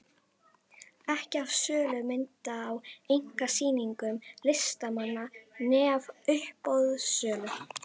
Ekki af sölu mynda á einkasýningum listamanna né af uppboðssölu.